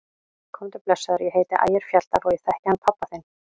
Komdu blessaður, ég heiti Ægir Fjalldal og ég þekki hann pabba þinn!